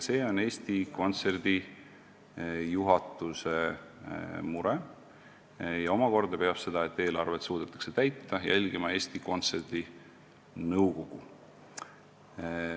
See on Eesti Kontserdi juhatuse mure ja seda, et eelarvet suudetakse täita, peab omakorda jälgima Eesti Kontserdi nõukogu.